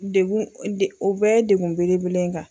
Degun degun o bɛ ye degun belebele de ye n kan.